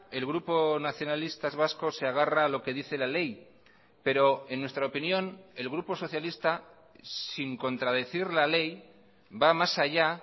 el grupo nacionalistas vascos se agarra a lo que dice la ley pero en nuestra opinión el grupo socialista sin contradecir la ley va más allá